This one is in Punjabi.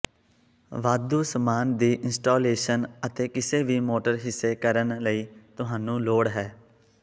ਵਾਧੂ ਸਾਮਾਨ ਦੀ ਇੰਸਟਾਲੇਸ਼ਨ ਅਤੇ ਕਿਸੇ ਵੀ ਮੋਟਰ ਹਿੱਸੇ ਕਰਨ ਲਈ ਤੁਹਾਨੂੰ ਲੋੜ ਹੈ